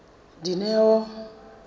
dineo